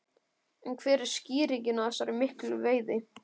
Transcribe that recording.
En hver er skýringin á þessari miklu veiði?